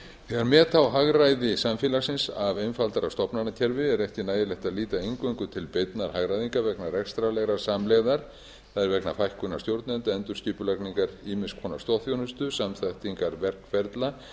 þegar meta á hagræði samfélagsins af einfaldara stofnanakerfi er ekki nægilegt að líta eingöngu til beinnar hagræðingar vegna rekstrarlegrar samlegðar það er vegna fækkunar stjórnenda endurskipulagningar ýmiss konar stoðþjónustu samþættingar verkferla